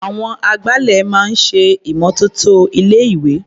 Àwọn agbálẹ̀ máa ń ṣe ìmọ́tótó ilé-ìwé.